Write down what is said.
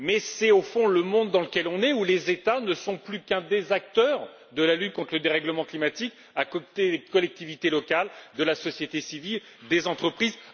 Mais c'est au fond le monde dans lequel nous vivons, où les États ne sont plus qu'un des acteurs de la lutte contre le dérèglement climatique, à côté des collectivités locales, de la société civile, des entreprises.